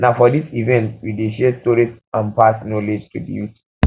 um na for this event um we dey share stories and pass um knowledge to di youth